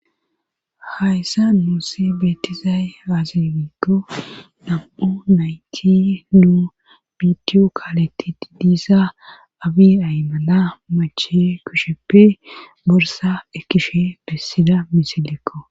hayssa nuussi beetizaye azifikko dam7u nayti nuu biidiyo kaaletti diidiisa abiin aymana mache kusheppe borsa ekkishe bessida misilekko